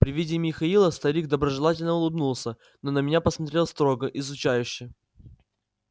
при виде михаила старик доброжелательно улыбнулся но на меня посмотрел строго изучающе